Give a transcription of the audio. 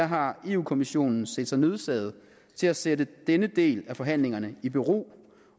har europa kommissionen set sig nødsaget til at sætte denne del af forhandlingerne i bero